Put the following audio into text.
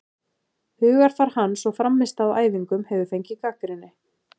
Hugarfar hans og frammistaða á æfingum hefur fengið gagnrýni.